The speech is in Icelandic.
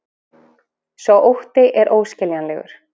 Sá ótti er óskiljanlegur